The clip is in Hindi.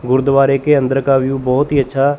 गुरुद्वारे के अंदर का व्यू बहोत ही अच्छा--